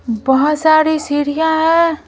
बहुत सारी सिरियां हैं।